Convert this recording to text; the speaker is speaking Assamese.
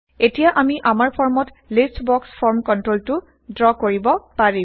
এতিয়া আমি আমাৰ ফৰ্মত লিষ্ট বক্স ফৰ্ম কন্ট্ৰলটো ড্ৰ কৰিব পাৰিম